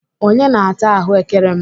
Onye na-ata ahụ́kere m?